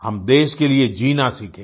हम देश के लिए जीना सीखें